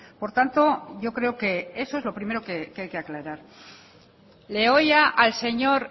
por tanto yo creo que eso es lo primero que hay que aclarar le oía al señor